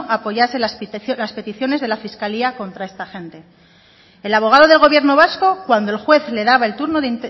apoyase las peticiones de la fiscalía contra esta gente el abogado del gobierno vasco cuando el juez le daba el turno